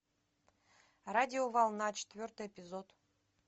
радиоволна четвертый эпизод